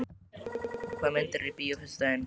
Arnborg, hvaða myndir eru í bíó á föstudaginn?